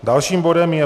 Dalším bodem je